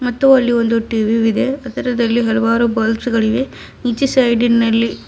ಮತ್ತು ಅಲ್ಲಿ ಒಂದು ಟಿ_ವಿ ವಿದೆ ಅದರದಲ್ಲಿ ಒಂದು ಬಲ್ಬ್ಸ್ ಗಳಿವೆ ಈಚೆ ಸೈಡಿ ನಲ್ಲಿ --